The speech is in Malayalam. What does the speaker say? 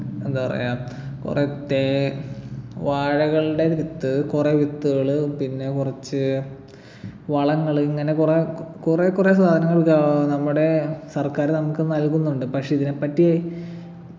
എന്താ പറയാ കുറേ തേ വാഴകളുടെ വിത്ത് കുറേ വിത്തുകള് പിന്നെ കുറച്ച് വളങ്ങള് ഇങ്ങനെ കുറെ കുറെ കുറെ സാധനങ്ങൾ ഗാ നമ്മുടെ സർക്കാര് നമുക്ക് നൽകുന്നുണ്ട് പക്ഷെ ഇതിനെപ്പറ്റി